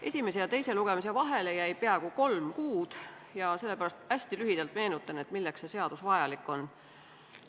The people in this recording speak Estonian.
Esimese ja teise lugemise vahele jäi peaaegu kolm kuud ja sellepärast hästi lühidalt meenutan, milleks see seadus vajalik on.